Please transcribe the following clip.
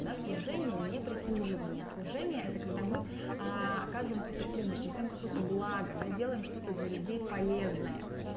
да служение не прислуживание служение это когда мы оказываем какую-то помощь несём какое-то благо делаем что-то для людей полезное